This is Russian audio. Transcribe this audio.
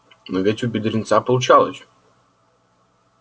но ведь у бедренца получалось